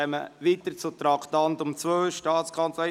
Wir fahren weiter mit dem Traktandum 2: «Staatskanzlei.